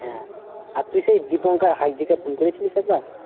হ্যাঁ আর তুই সেই দীপঙ্কর হাইজি কে ফোন করেছিলিস একবার?